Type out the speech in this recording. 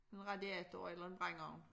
En radiator eller en brændeovn